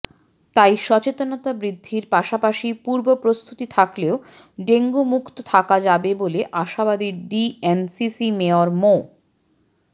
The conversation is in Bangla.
তাই সচেতনতা বৃদ্ধির পাশাপাশি পূর্বপ্রস্তুতি থাকলে ডেঙ্গু মুক্ত থাকা যাবে বলে আশাবাদী ডিএনসিসি মেয়র মো